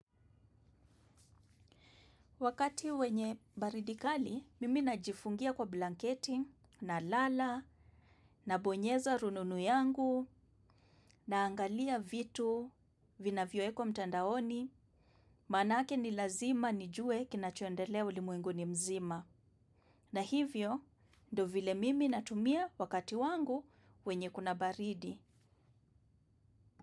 Wakati wenye baridi kali mimi najifungia kwa blanketi nalala, nabonyeza rununu yangu naangalia vitu vinavyo wekwa mtandaoni, maanake ni lazima nijue kinachoendelea ulimwenguni mzima. Na hivyo, ndo vile mimi natumia wakati wangu wenye kuna baridi.